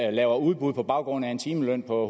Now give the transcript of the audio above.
og laver udbud på baggrund af en timeløn på